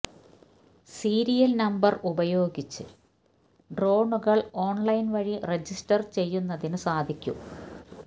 serial number ഉപയോഗിച്ച് ഡ്രോണുകൾ online വഴി രജിസ്റ്റർ ചെയ്യുന്നതിന് സാധിക്കും